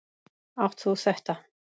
Átt þú þetta?